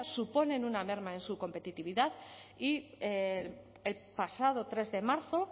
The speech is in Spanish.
suponen una merma en su competitividad y el pasado tres de marzo